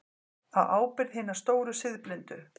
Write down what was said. Á ábyrgð hinna stóru siðblindu.